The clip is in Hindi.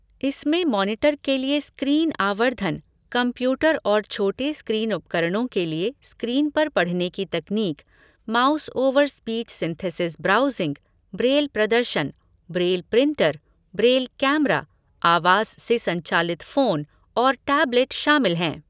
इसमें मॉनिटर के लिए स्क्रीन आवर्धन, कंप्यूटर और छोटे स्क्रीन उपकरणों के लिए स्क्रीन पर पढ़ने की तकनीक, mouse over speech synthesis browsing, braille प्रदर्शन, ब्रेल प्रिंटर, ब्रेल कैमरा, आवाज़ से संचालित फोन, और टैबलेट शामिल हैं।